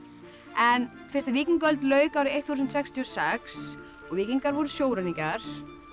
en fyrst víkingaöld lauk þúsund sextíu og sex og víkingar voru sjóræningjar